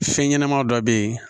Fɛn ɲɛnɛmaw dɔ be yen